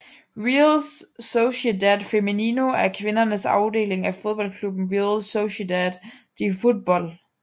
Real Sociedad Femenino er kvindernes afdeling af fodboldklubben Real Sociedad de Fútbol